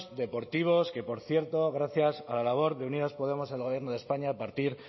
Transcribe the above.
deportivos que por cierto gracias a la labor de unidas podemos en el gobierno de españa a partir